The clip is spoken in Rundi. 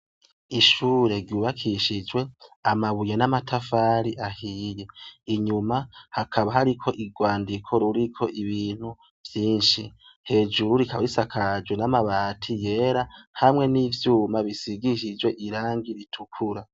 Ishure ryubakishijwe amabuye n'amatafari ahiye. Inyuma hakaba hariko urwandiko ruriko ibintu vyinshi. Hejuru rikaba risakajwe n'amabati yera hamwe n'ivyuma bisigishijwe irangi ritukura.